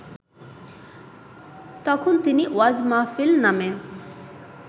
তখন তিনি ওয়াজ মাহফিল নামে